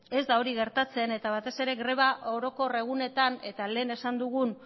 ez da hori gertatzen eta batez ere greba orokor egunetan eta lehen esan dugun